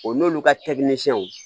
O n'olu ka